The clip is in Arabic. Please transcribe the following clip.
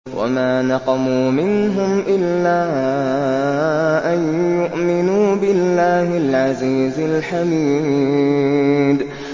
وَمَا نَقَمُوا مِنْهُمْ إِلَّا أَن يُؤْمِنُوا بِاللَّهِ الْعَزِيزِ الْحَمِيدِ